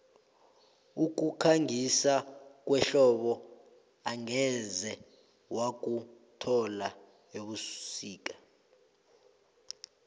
ukukhangisa kwehlobo angeze wakuthola ebusika